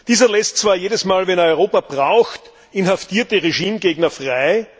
Dieser lässt zwar jedes Mal, wenn er Europa braucht, inhaftierte Regimegegner frei.